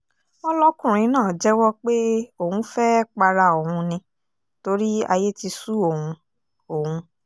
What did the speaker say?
wọ́n lọ́kùnrin náà jẹ́wọ́ pé òun fẹ́ẹ́ para òun ni torí ayé ti sú òun òun